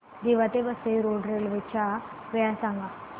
दिवा ते Vasai road railway च्या वेळा सांगा